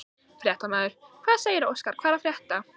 Fréttamaður: Hvað segirðu Óskar, hvað er að frétta?